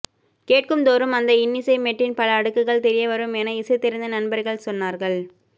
கேட்கும்தோறும் அந்த இன்னிசைமெட்டின் பல அடுக்குகள் தெரியவரும் என இசை தெரிந்த நண்பர்கள் சொன்னார்கள்